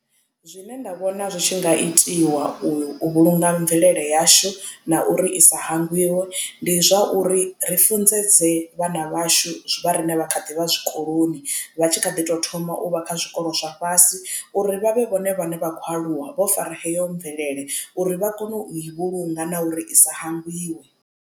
Zwine nda vhona zwi tshi nga itiwa u vhulunga mvelele yashu na uri i sa hangwiwe ndi zwa uri ri funḓedze vhana vhashu zwi vha riṋe vha kha ḓi vha zwikoloni vha tshi kha ḓi tou thoma u vha kha zwikolo zwa fhasi uri vha vhe vhone vhane vha khou aluwa vho fara heyo mvelele uri vha kone u i vhulunga na uri i sa hangwiwe.